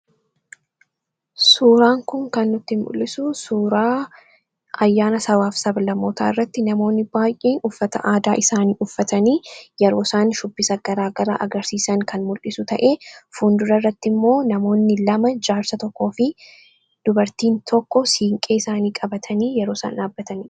Suuraan kun kan nutti mul'isu suuraa ayyaana sabaa fi sab-lammootaa irratti namoonni baay'een uffata aadaa isaanii uffatanii yeroo isaan shubbisa garaagaraa agarsiisan kan mul'isu ta'ee, fuundura irrattimmoo namoonni lama jaarsa tokkoo fi dubartiin tokko siinqee isaanii qabatanii yeroo isaan dhaabbatanii dha.